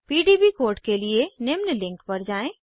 PDB code के लिए निम्न लिंक पर जाएँ